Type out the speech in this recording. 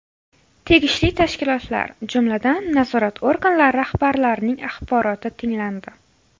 Tegishli tashkilotlar, jumladan, nazorat organlari rahbarlarining axboroti tinglandi.